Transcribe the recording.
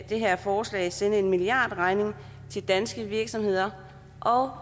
det her forslag sende en milliardregning til danske virksomheder og